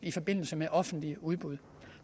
i forbindelse med offentlige udbud